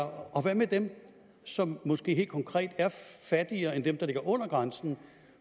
og hvad med dem som måske helt konkret er fattigere end dem der ligger under grænsen